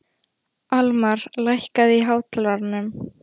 Almar, lækkaðu í hátalaranum.